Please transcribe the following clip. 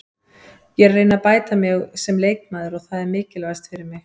Ég er að reyna að bæta mig sem leikmaður og það er mikilvægast fyrir mig.